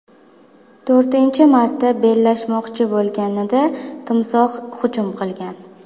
To‘rtinchi marta bellashmoqchi bo‘lishganida timsoh hujum qilgan.